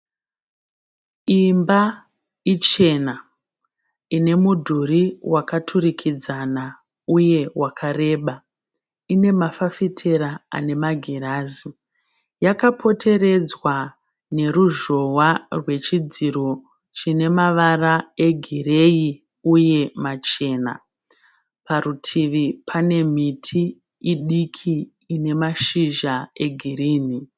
Imba ichena ine mudhuri wakaturikidzana uye wakareba. Ine mafafitera ane magirazi. Yakapoteredzwa neruzhowa rwechidziro chine mavara egireyi uye machena. Parutini pane miti idiki ine mashizha egirinhi.